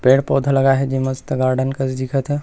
पेड़-पौधे लगा हे जे मस्त गार्डन कस दिखत हे ।